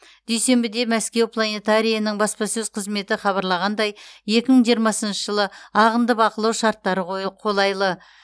дүйсенбіде мәскеу планетарийінің баспасөз қызметі хабарлағандай екі мың жиырмасыншы жылы ағынды бақылау шарттары қолайлы